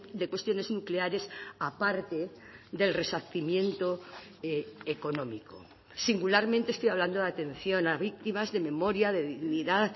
de cuestiones nucleares aparte del resarcimiento económico singularmente estoy hablando de atención a víctimas de memoria de dignidad